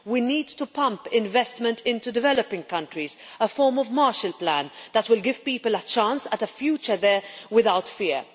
We need to pump investment into developing countries, a form of Marshall Plan that will give people a chance of a future there without fear.